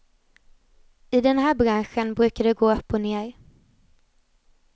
I den här branschen brukar det gå upp och ner.